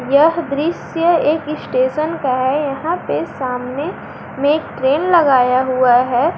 यह दृश्य एक स्टेशन का है यहां पे सामने में ट्रेन लगाया हुआ है।